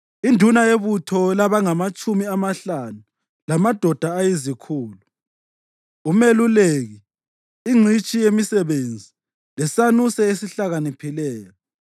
induna yebutho labangamatshumi amahlanu lamadoda ayizikhulu, umeluleki, ingcitshi yemisebenzi, lesanuse esihlakaniphileyo.